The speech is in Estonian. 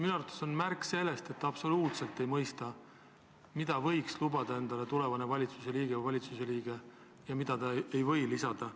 Minu arvates on see märk sellest, et te absoluutselt ei mõista, mida võib endale lubada valitsusliige või tulevane valitsusliige, ja mida ta ei või endale lubada.